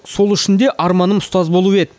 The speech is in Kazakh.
сол үшін де арманым ұстаз болу еді